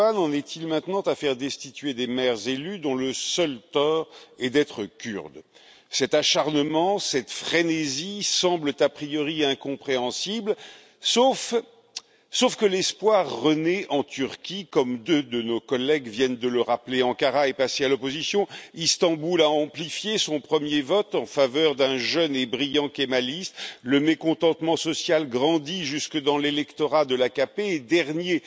Erdogan en est il maintenant à faire destituer des maires élus dont le seul tort est d'être kurde? Cet acharnement, cette frénésie, semblent a priori incompréhensibles, si ce n'est que l'espoir renaît en Turquie, comme deux de nos collègues viennent de le rappeler. Ankara est passé à l'opposition, Istanbul a amplifié son premier vote en faveur d'un jeune et brillant kémaliste, le mécontentement social grandit jusque dans l'électorat de l'AKP et, dernier